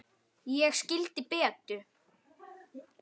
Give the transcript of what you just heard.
Ég skildi Betu.